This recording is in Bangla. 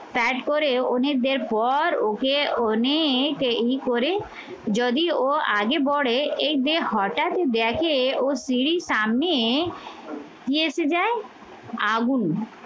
side করে অনেকদের পর ওকে অনেক ই করে যদি ও আগে পরে এই যে হঠাৎ দেখে ওর স্ত্রীর সামনে কি এসে যায়? আগুন